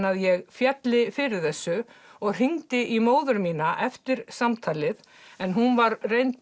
að ég félli fyrir þessu og hringdi í móður mína eftir samtalið en hún var reynd